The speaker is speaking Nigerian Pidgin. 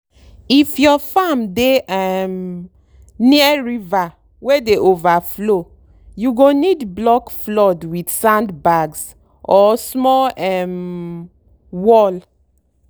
if your farm dey um near river wey dey overflow you go need block flood with sandbags or small um wall.